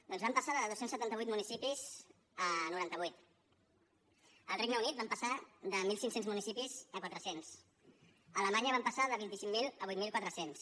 doncs van passar de dos cents i setanta vuit municipis a noranta vuit al regne unit van passar de mil cinc cents municipis a quatre cents a alemanya van passar de vint cinc mil a vuit mil quatre cents